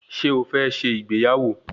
Ṣé o fẹ́ ṣe ìgbéyàwó